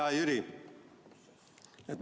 Hea Jüri!